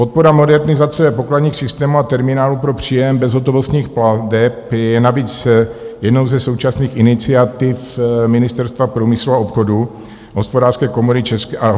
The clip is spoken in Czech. Podpora modernizace pokladních systémů a terminálů pro příjem bezhotovostních plateb je navíc jednou ze současných iniciativ Ministerstva průmyslu a obchodu a Hospodářské komory České republiky.